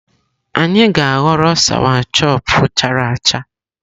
Anyị ga-aghọrọ sawachọpụ chara acha.